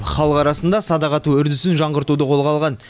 халық арасында садақ ату үрдісін жаңғыртуды қолға алған